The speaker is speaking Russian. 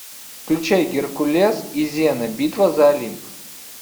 включай геркулес и зена битва за олимп